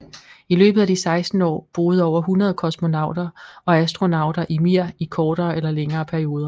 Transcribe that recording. I løbet af de 16 år boede over 100 kosmonauter og astronauter i Mir i kortere eller længere perioder